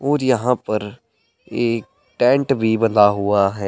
और यहां पर एक टेंट भी बना हुआ है।